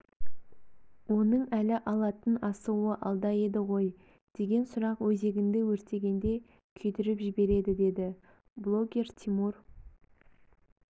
оның әлі алатын асуы алда еді ғой деген сұрақ өзегіңді өртегенде күйдіріп жібереді деді блогер тимур